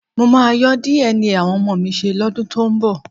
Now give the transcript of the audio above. Mo máa yọ́ DNA àwọn ọmọ mi ṣe lọ́dún tó ń bọ̀